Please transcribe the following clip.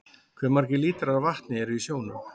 Hve margir lítrar af vatni eru í sjónum?